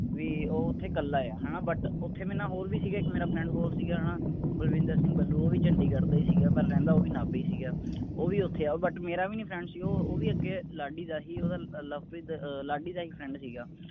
ਵੀ ਉਹ ਓਥੇ ਕੱਲਾ ਆ ਹੈਨਾ but ਓਥੇ ਮੇਰੇ ਨਾਲ ਹੋਰ ਵੀ ਸੀਗੇ, ਇਕ ਮੇਰਾ friend ਹੋਰ ਸੀਗਾ ਹੈਨਾ, ਦਵਿੰਦਰ ਸਿੰਘ ਬੱਲੂ, ਉਹ ਵੀ ਚੰਡੀਗੜ੍ਹ ਦਾ ਹੀ ਸੀਗਾ ਪਰ ਰਹਿੰਦਾ ਉਹ ਵੀ ਨਾਭੇ ਹੀ ਸੀਗਾ। ਉਹ ਵੀ ਓਥੇ ਆਏ but ਮੇਰਾ ਵੀ ਨੀ friend ਸੀ ਉਹ ਉਹ ਵੀ ਅੱਗੇ ਲਾਡੀ ਦਾ ਹੀ ਉਹ ਲਵਪ੍ਰੀਤ ਦਾ ਅਹ ਲਾਡੀ ਦਾ ਹੀ friend ਸੀਗਾ।